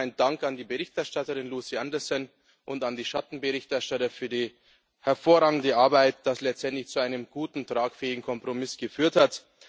Zunächst geht mein Dank an die Berichterstatterin Lucy Anderson und an die Schattenberichterstatter für die hervorragende Arbeit, was letztendlich zu einem guten, tragfähigen Kompromiss geführt hat.